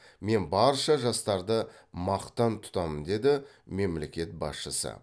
мен барша жастарды мақтан тұтамын деді мемлекет басшысы